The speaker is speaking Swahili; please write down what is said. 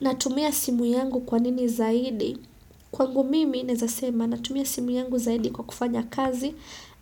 Natumia simu yangu kwa nini zaidi? Kwangu mimi naeza sema natumia simu yangu zaidi kwa kufanya kazi